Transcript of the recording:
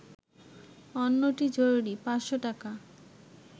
অন্যটি জরুরি, ৫০০ টাকা